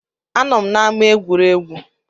A nọ m n’ama egwuregwu